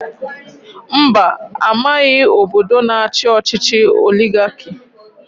Mba amaghị obodo na-achi ọchịchị oligarki.